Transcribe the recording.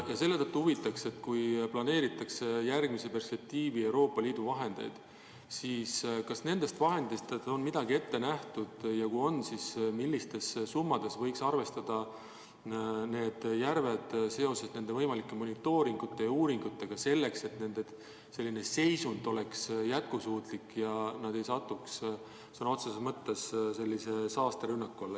Ja selle tõttu mind huvitab, et kui planeeritakse Euroopa Liidu järgmise eelarveperspektiivi vahendeid, siis kas nendest on midagi ette nähtud ja kui on, siis milliste summadega võiks arvestada, et teha nende järvede monitooringut ja viia läbi uuringuid, et nende seisund ei halveneks ja nad ei satuks saasterünnaku alla.